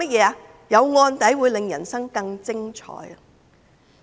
他說有案底會令人生更精彩。